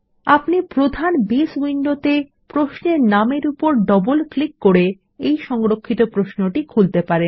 আপনি প্রধান বেস উইন্ডোতে প্রশ্নের নামের উপর ডবল ক্লিক করে এই সংরক্ষিত প্রশ্নটি খুলতে পারেন